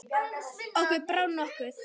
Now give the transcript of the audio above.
Okkur brá nokkuð.